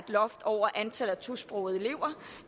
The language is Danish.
loft over antallet af tosprogede elever